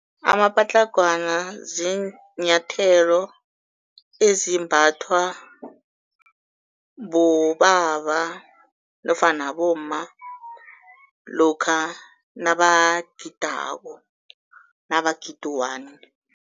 Amapatlagwana ziinyathelo ezimbathwa bobaba nofana bomma lokha nabagidako, nabagida u-one.